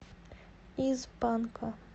из банка